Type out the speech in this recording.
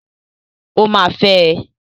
Ó máa fẹ́ ẹ.